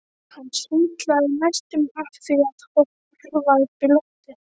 Hann sundlaði næstum af því að horfa upp í loftið.